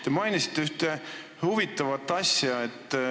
Te mainisite ühte huvitavat asja.